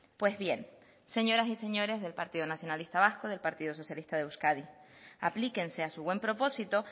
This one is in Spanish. pues bien señoras y señores del partido nacionalista vasco y del partido socialista de euskadi aplíquense a su buen propósito